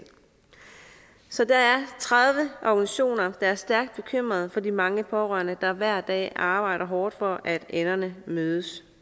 så der er tredive organisationer der er stærkt bekymrede for de mange pårørende der hver dag arbejder hårdt for at enderne mødes